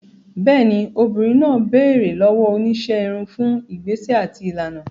Bẹ́ẹ̀ni, obìnrin náà béèrè lọ́wọ́ oníṣẹ́ irun fún ìgbésẹ̀ àti ìlànà.